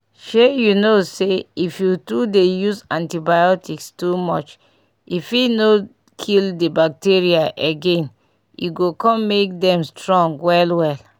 shey you no sayif you too dey use antibiotics too much e fit no kill the bacteria again e go come make them strong well well